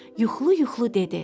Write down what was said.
Yuxulu-yuxulu dedi: